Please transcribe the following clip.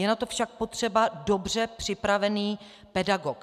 Je na to však potřeba dobře připravený pedagog.